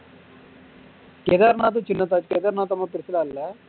கேதார்நாத் சின்னசு கேதார்நாத்தும் ரொம்ப பெருசுலாம் இல்ல